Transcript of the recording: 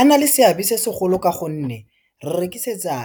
A na le seabe se segolo ka gonne, re rekisetsa